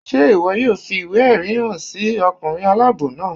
Ṣe iwọ yóò fi iwe-ẹrí han sí ọkunrin alabọ naa?